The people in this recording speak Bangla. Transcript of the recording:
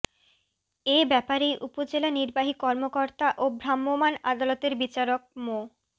এ ব্যাপারে উপজেলা নির্বাহী কর্মকর্তা ও ভ্রাম্যমাণ আদালতের বিচারক মো